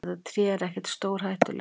Þetta tré er ekkert stórhættulegt.